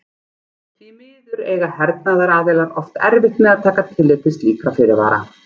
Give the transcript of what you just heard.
Því miður eiga hernaðaraðilar oft erfitt með að taka tillit til slíkra fyrirvara.